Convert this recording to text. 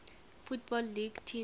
football league teams